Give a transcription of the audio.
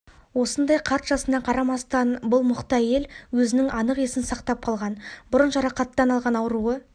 осындай қарт жасына қарамастан бұл мықты әйел өзінің анық есін сақтап қалған бұрын жарақаттан алған ауруы